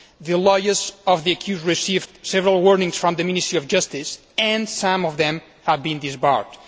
The lawyers of the accused received several warnings from the Ministry of Justice and some of them have been disbarred.